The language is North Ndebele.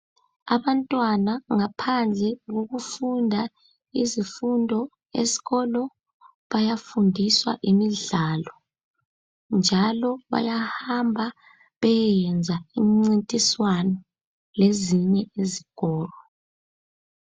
Abantwana ngaphandle kokufunda izifundo esikolo bayafundiswa imidlalo njalo bayahamba beyeyenza imincintiswano lezinye izikolo .